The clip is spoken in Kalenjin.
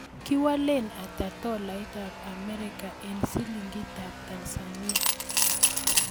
Kiwalen ata tolaitap Amerika eng' silingitap Tanzania